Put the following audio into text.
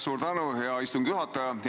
Suur tänu, hea istungi juhataja!